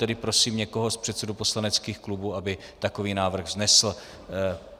Tedy prosím někoho z předsedů poslaneckých klubů, aby takový návrh vznesl.